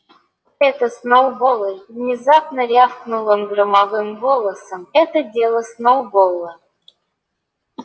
это сноуболл внезапно рявкнул он громовым голосом это дело сноуболла